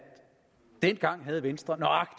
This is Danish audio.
dengang havde venstre